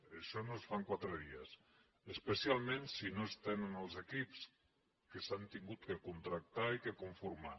i això no es fa en quatre dies especialment si no es tenen els equips que s’han hagut de contractar i de conformar